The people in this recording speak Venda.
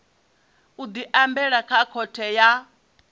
u diambela kha khothe ya